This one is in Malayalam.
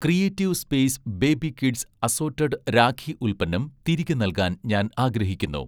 creative space baby kids assorted rakhi ഉൽപ്പന്നം തിരികെ നൽകാൻ ഞാൻ ആഗ്രഹിക്കുന്നു